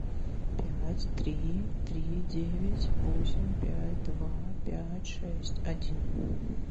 пять три три девять восемь пять два пять шесть один